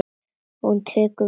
Hún tekur við sjálfri sér.